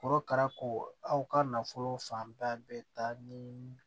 Korokara ko aw ka nafolo fanba bɛ taa ni